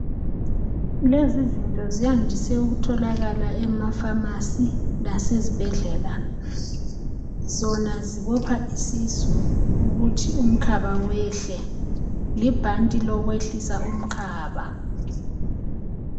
Lezi zinto ziyandise ukutholakala emaPharmacy lasezibhedlela. Zona zibopha isisu ukuthi umkhaba wehle. libhanti lokwehlisa umkhaba.